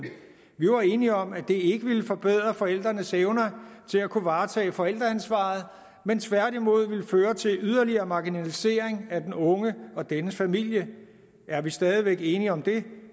vi var enige om at det ikke ville forbedre forældrenes evner til at kunne varetage forældreansvaret men tværtimod ville føre til yderligere marginalisering af den unge og dennes familie er vi stadig væk enige om det